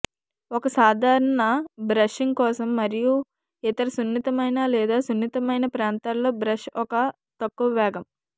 ఒక సాధారణ బ్రషింగ్ కోసం మరియు ఇతర సున్నితమైన లేదా సున్నితమైన ప్రాంతాల్లో బ్రష్ ఒక తక్కువ వేగం